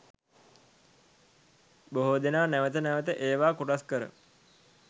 බොහෝ දෙනා නැවත නැවත ඒවා කොටස් කර